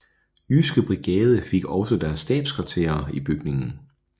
Jyske Brigade fik også deres stabskvarter i bygningen